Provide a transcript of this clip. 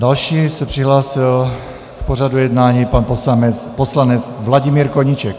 Dále se přihlásil k pořadu jednání pan poslanec Vladimír Koníček.